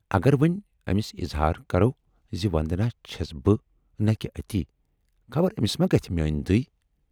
اگر وۅنۍ ٲمِس اِظہار کرو زِ وندنا چھَس بہٕ نہٕ کہِ اَتی، خبر ٲمِس ما گژھِ میٲنۍ دٕے۔